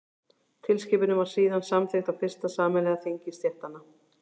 tilskipunin var síðan samþykkt á fyrsta sameiginlega þingi stéttanna